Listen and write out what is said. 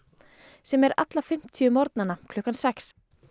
sem er alla fimmtíu morgnana klukkan sex